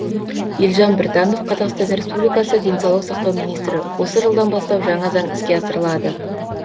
елжан біртанов қазақстан республикасы денсаулық сақтау министрі осы жылдан бастап жаңа заң іске асырылады